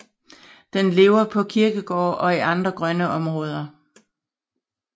Den lever på kirkegårde og i andre grønne områder